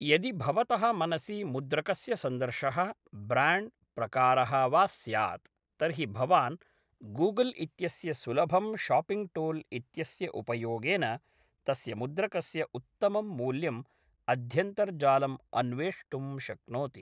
यदि भवतः मनसि मुद्रकस्य सन्दर्शः, ब्राण्ड्, प्रकारः वा स्यात् तर्हि भवान् गूगल् इत्यस्य सुलभं शॉपिङ्ग् टूल् इत्यस्य उपयोगेन तस्य मुद्रकस्य उत्तमं मूल्यम् अध्यन्तर्जालम् अन्वेष्टुं शक्नोति।